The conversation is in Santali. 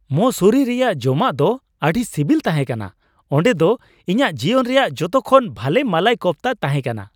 ᱢᱚᱥᱩᱨᱤ ᱨᱮᱭᱟᱜ ᱡᱚᱢᱟᱜ ᱫᱚ ᱟᱹᱰᱤ ᱥᱤᱵᱤᱞ ᱛᱟᱦᱮᱸ ᱠᱟᱱᱟ ᱾ ᱚᱸᱰᱮ ᱫᱚ ᱤᱧᱟᱜ ᱡᱤᱭᱚᱱ ᱨᱮᱭᱟᱜ ᱡᱚᱛᱚ ᱠᱷᱚᱱ ᱵᱷᱟᱜᱮ ᱢᱟᱞᱟᱭ ᱠᱳᱯᱷᱛᱟ ᱛᱟᱦᱮᱸᱠᱟᱱᱟ ᱾